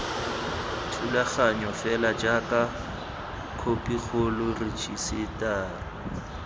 thulaganyo fela jaaka khopikgolo rejisetara